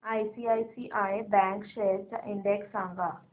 ICICI bank shares चा index सांगा